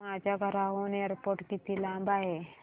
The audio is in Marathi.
माझ्या घराहून एअरपोर्ट किती लांब आहे